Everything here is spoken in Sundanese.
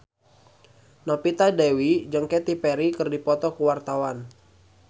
Novita Dewi jeung Katy Perry keur dipoto ku wartawan